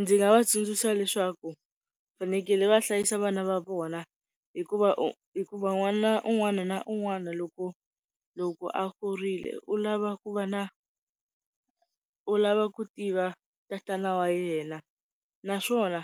Ndzi nga va tsundzuxa leswaku vafanekele va hlayisa vana va vona hikuva u hikuva n'wana un'wana na un'wana loko, loko a kurile u lava ku va na u lava ku tiva tatana wa yena. Naswona